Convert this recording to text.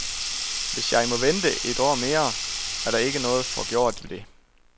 Hvis jeg må vente et år mere, er der ikke noget forgjort ved det.